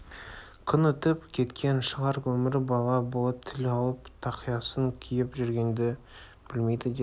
күн өтіп кеткен шығар өмірі бала болып тіл алып тақиясын киіп жүргенді білмейді деді